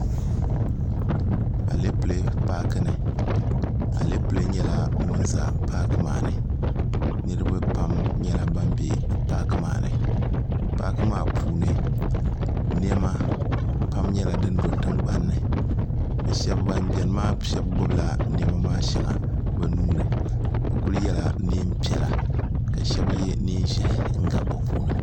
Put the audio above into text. alɛpilɛ paaki ni alɛpilɛ nyɛla ŋun ʒɛ paaki maa ni niraba pam nyɛla bin bɛ paaki maa ni paaki maa puuni niɛma pam nyɛla din do tingbanni ban biɛni maa shab gbubila niɛma maa shɛli bi nuuni bi kuli yɛla neen piɛla ka shab yɛ neen ʒiɛhi n gabi bi puuni